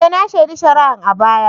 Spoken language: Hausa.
E! na shaidi shari'a a baya.